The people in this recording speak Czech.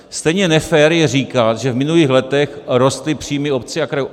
Stejně nefér je říkat, že v minulých letech rostly příjmy obcí a krajů.